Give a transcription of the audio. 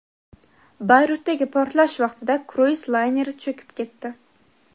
Bayrutdagi portlash vaqtida kruiz layneri cho‘kib ketdi.